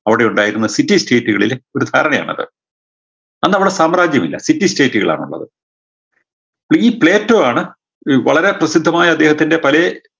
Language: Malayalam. അവിടെയുണ്ടായിരുന്ന city state കളിലെ ഒരു ധാരണയാണ് അത് അന്നവിടെ സാമ്രാജ്യമില്ല city state കളാണുള്ളത് പ്പോ ഈ പ്ലേറ്റോ ആണ് വളരെ പ്രസിദ്ധമായ അദ്ദേഹത്തിൻറെ പലേ